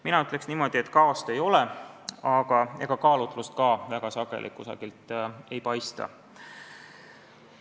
Mina ütleksin niimoodi, et kaost ei ole, aga ega kaalutlust ka väga sageli kusagilt ei paista.